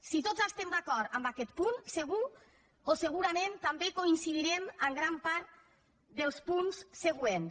si tots estem d’acord amb aquest punt segur o segurament també coincidirem en gran part dels punts següents